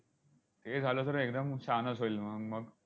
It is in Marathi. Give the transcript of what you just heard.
हे झालं तर एकदम छानच होईल म मग.